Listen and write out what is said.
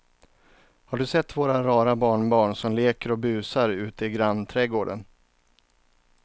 Har du sett våra rara barnbarn som leker och busar ute i grannträdgården!